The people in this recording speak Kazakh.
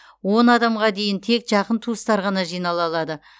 он адамға дейін тек жақын туыстар ғана жинала алады